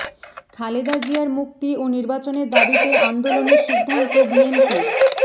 খালেদা জিয়ার মুক্তি ও নির্বাচনের দাবিতে আন্দোলনের সিদ্ধান্ত বিএনপির